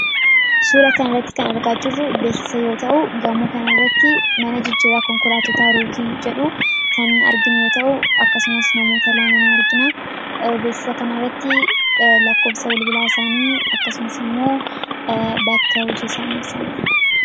Suura kana irratti kan argaa jirru beeksisa yoo ta'u, gamoo kana irratti mana jijjiirraa konkolaattotaa Rookii jedhu argina. Akkasumas, namoota lama ni argina. Beeksisa kana irratti lakkoofsa bilbilaa isaanii, akkasumas immoo bakka hojii isaanii ibsameera.